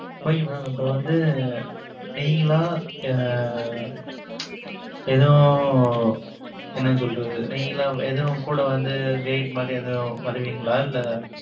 Okay mam இப்ப வந்து, நீங்களா, எதுவும், என்ன சொல்றது? நீங்களா, எதுவும், கூட வந்து, guide மாரி, எதுவும் வருவீங்களா? இல்ல,